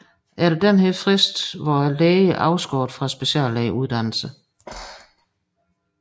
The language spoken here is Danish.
Efter denne frist var lægen afskåret fra speciallægeuddannelsen